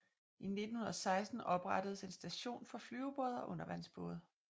I 1916 oprettedes en station for flyvebåde og undervandsbåde